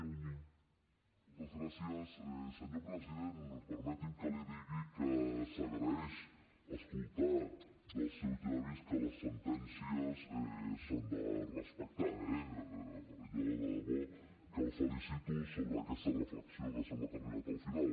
senyor president permeti’m que li digui que s’agraeix escoltar dels seus llavis que les sentències s’han de respectar eh jo de debò que el felicito sobre aquesta reflexió que sembla que ha arribat al final